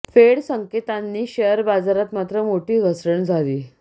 फेड संकेतांनी शेअर बाजारात मात्र मोठी घसरण झाली